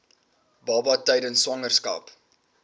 baba tydens swangerskap